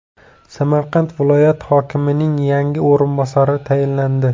Samarqand viloyat hokimining yangi o‘rinbosari tayinlandi.